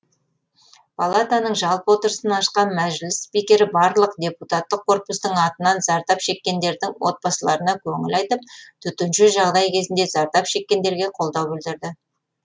палатаның жалпы отырысын ашқан мәжіліс спикері барлық депутаттық корпустың атынан зардап шеккендердің отбасыларына көңіл айтып төтенше жағдай кезінде зардап шеккендерге қолдау білдірді